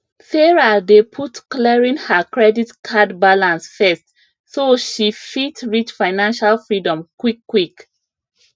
sarah dey put clearing her credit card balance first so she fit reach financial freedom quickquick